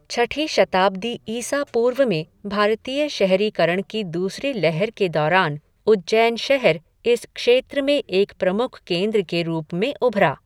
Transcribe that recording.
छठी शताब्दी ईसा पूर्व में भारतीय शहरीकरण की दूसरी लहर के दौरान उज्जैन शहर इस क्षेत्र में एक प्रमुख केंद्र के रूप में उभरा।